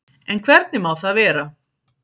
En hvernig má það vera?